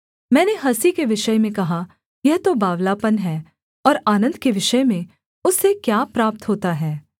मैंने हँसी के विषय में कहा यह तो बावलापन है और आनन्द के विषय में उससे क्या प्राप्त होता है